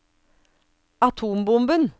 atombomben